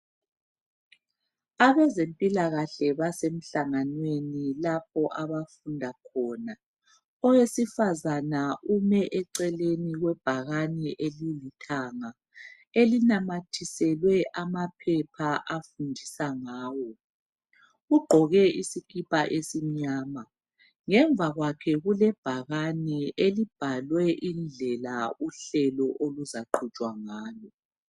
Abezempilakahle basemhlanganeni lapha abafunda khona owesifazana ume eceleni kwebhakani elilithanga elinamathiselwe amaphepha afundiswa ngawo ugqoke isikipa esimnyama ngemva kwakhe kulebhakani elibhalwe indlela uhlelo oluzaqhutshwa ngalo